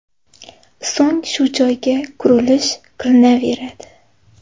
So‘ng shu joyga qurilish qilinaveradi.